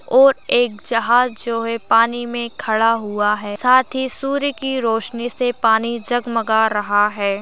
ओर एक जहाज जो है पानी में खड़ा हुआ है। साथी सूर्य की रोशनी से पानी जगमगा रहा है।